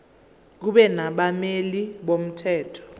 kube nabameli bomthetho